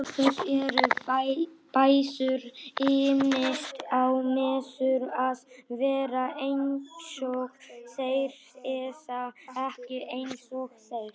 Til þess eru bræður, ýmist á maður að vera einsog þeir eða ekki einsog þeir.